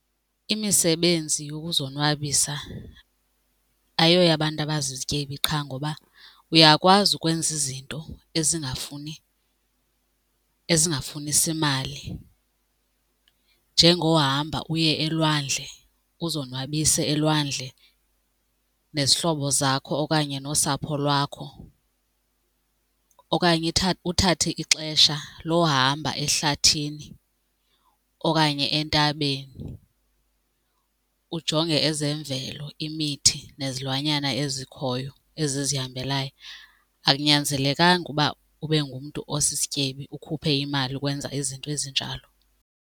Imisebenzi yokuzonwabisa ayoyabantu abazizityebi qha ngoba uyakwazi ukwenza izinto ezingafuni ezingafunisi mali njengohamba uye elwandle uzonwabise elwandle nezihlobo zakho okanye nosapho lwakho okanye uthathe ixesha lohamba ehlathini, okanye entabeni ujonge ezemvelo imithi nezilwanyana ezikhoyo ezizihambeleyo. Akunyanzelekanga uba ube ngumntu osisityebi ukhuphe imali ukwenza izinto ezinjalo.